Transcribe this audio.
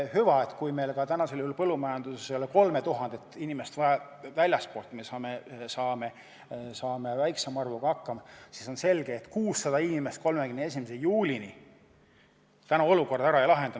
Hüva, kui meil ka täna ei ole põllumajanduses vaja 3000 inimest väljastpoolt ja me saame hakkama väiksema arvuga, siis selge on see, et 600 inimest 31. juulini olukorda ära ei lahenda.